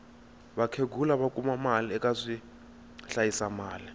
vakhegula va kuma mali eka swi hlayisa mali